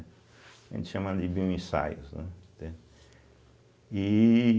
A gente chama de bioensaios, né? entende e